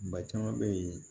Ba caman bɛ yen